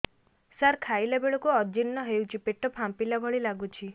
ସାର ଖାଇଲା ବେଳକୁ ଅଜିର୍ଣ ହେଉଛି ପେଟ ଫାମ୍ପିଲା ଭଳି ଲଗୁଛି